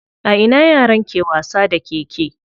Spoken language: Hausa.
A ina yaran ke wasa da keke?